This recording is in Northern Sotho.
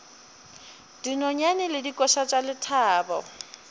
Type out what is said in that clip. dinonyane le dikoša tša lethabo